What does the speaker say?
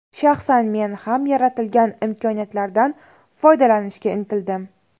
Shaxsan men ham yaratilgan imkoniyatlardan foydalanishga intildim.